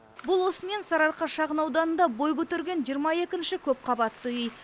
бұл осымен сарыарқа шағын ауданында бой көтерген жиырма екінші көп қабатты үй